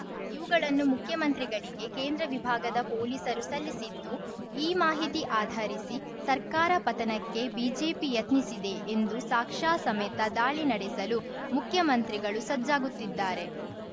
ಇವುಗಳನ್ನು ಮುಖ್ಯಮಂತ್ರಿಗಳಿಗೆ ಕೇಂದ್ರ ವಿಭಾಗದ ಪೊಲೀಸರು ಸಲ್ಲಿಸಿದ್ದು ಈ ಮಾಹಿತಿ ಆಧರಿಸಿ ಸರ್ಕಾರ ಪತನಕ್ಕೆ ಬಿಜೆಪಿ ಯತ್ನಿಸಿದೆ ಎಂದೂ ಸಾಕ್ಷ್ಯ ಸಮೇತ ದಾಳಿ ನಡೆಸಲು ಮುಖ್ಯಮಂತ್ರಿಗಳು ಸಜ್ಜಾಗುತ್ತಿದ್ದಾರೆ